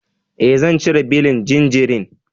E, zan cire belin jinjirin.